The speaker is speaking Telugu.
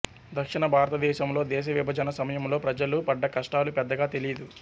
దక్షణ భారతదేశంలో దేశ విభజన సమయంలో ప్రజలు పడ్డ కష్టాలు పెద్దగా తెలీదు